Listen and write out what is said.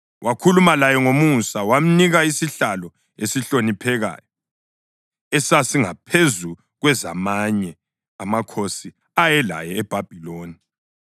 Wakhuluma laye ngomusa, wamnika isihlalo esihloniphekayo esasingaphezu kwezamanye amakhosi ayelaye eBhabhiloni.